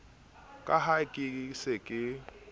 ka ha ke se ke